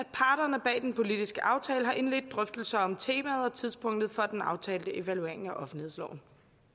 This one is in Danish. parterne bag den politiske aftale har indledt drøftelser om temaet og tidspunktet for den aftalte evaluering af offentlighedsloven